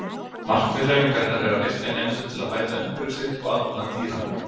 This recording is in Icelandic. Markmið hreyfingarinnar er að virkja nemendur til að bæta umhverfi sitt og aðbúnað dýra.